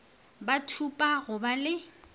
ba thupa go ba le